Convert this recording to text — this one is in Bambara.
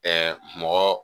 mɔgɔ